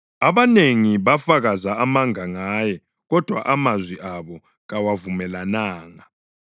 Abanengi bafakaza amanga ngaye, kodwa amazwi abo kawavumelananga.